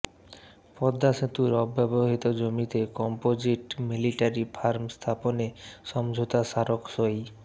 পদ্মা সেতুর অব্যবহৃত জমিতে কম্পোজিট মিলিটারি ফার্ম স্থাপনে সমঝোতা স্মারক সই